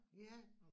Ja